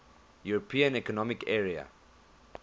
european economic area